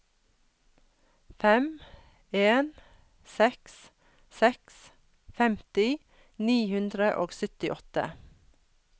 fem en seks seks femti ni hundre og syttiåtte